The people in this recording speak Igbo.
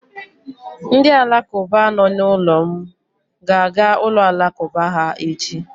Ndị Alakụba nọ n'ụlọ m ga-aga ụlọ Alakụba ha echi.